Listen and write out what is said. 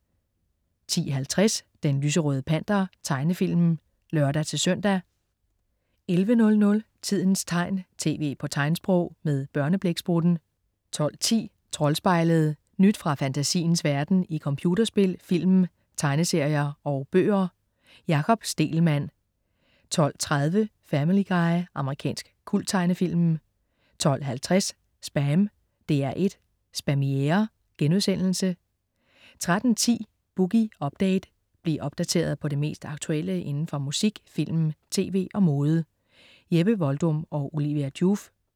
10.50 Den lyserøde Panter. Tegnefilm (lør-søn) 11.00 Tidens tegn, tv på tegnsprog. Med Børneblæksprutten 12.10 Troldspejlet. Nyt fra fantasiens verden i computerspil, film, tegneserier og bøger. Jakob Stegelmann 12.30 Family Guy. Amerikansk kulttegnefilm 12.50 SPAM. DR1 Spamiere* 13.10 Boogie Update. Bliv opdateret på det mest aktuelle inden for musik, film, tv og mode. Jeppe Voldum og Olivia Joof